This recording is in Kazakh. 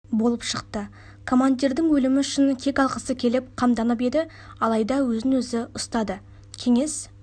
болып шықты командирінің өлімі үшін кек алғысы келіп қамданып еді алайда өзін-өзі ұстады кеңес